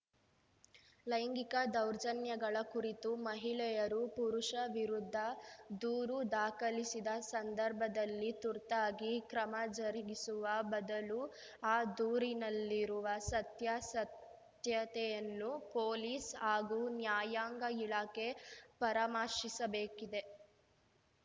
ಲೈಂಗಿಕ ದೌರ್ಜನ್ಯಗಳ ಕುರಿತು ಮಹಿಳೆಯರು ಪುರುಷ ವಿರುದ್ಧ ದೂರು ದಾಖಲಿಸಿದ ಸಂದರ್ಭದಲ್ಲಿ ತುರ್ತಾಗಿ ಕ್ರಮ ಜರುಗಿಸುವ ಬದಲು ಆ ದೂರಿನಲ್ಲಿರುವ ಸತ್ಯಾಸತ್ಯತೆಯನ್ನು ಪೊಲೀಸ್‌ ಹಾಗೂ ನ್ಯಾಯಾಂಗ ಇಲಾಖೆ ಪರಮರ್ಶಿಸಬೇಕಿದೆ